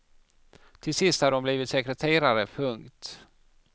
Till sist hade hon blivit sekreterare. punkt